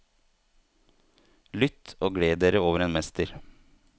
Lytt og gled dere over en mester.